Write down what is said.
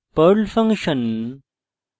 perl function